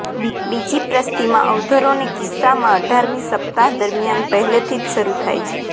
બીજી પ્રસૂતિમાં અવરોધોને કિસ્સામાં અઢારમી સપ્તાહ દરમિયાન પહેલેથી જ શરૂ થાય છે